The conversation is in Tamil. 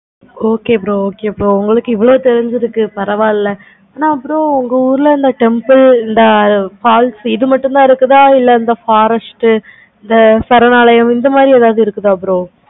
okay bro okay bro உங்களுக்கு இவ்வளோ தெரிஞ்சிருக்கு பரவ இல்லை. ஆனா bro உங்க ஊருல அந்த temple இந்த falls இது மட்டும் தான் இருக்குதா இல்ல இந்த forest இந்த சரணாலையும் இந்த மாதிரி ஏதாவது இருக்கு.